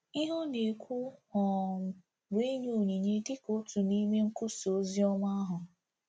Ihe ọ na-ekwu um bụ inye onyinye dị ka otu n'ime nkwusa ozi ahụ.